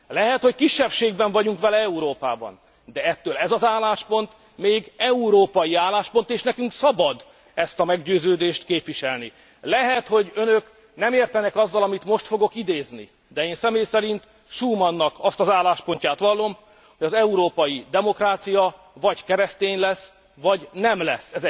Lehet, hogy kisebbségben vagyunk vele Európában, de ettől ez az álláspont még európai álláspont és nekünk szabad ezt a meggyőződést képviselni. Lehet, hogy önök nem értenek egyet azzal, amit most fogok idézni, de én személy szerint Schumannak azt az álláspontját vallom, hogy az európai demokrácia vagy keresztény lesz, vagy nem lesz.